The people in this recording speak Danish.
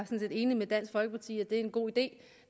set enig med dansk folkeparti i at det er en god idé